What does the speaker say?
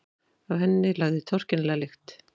Af henni lagði torkennilega lykt.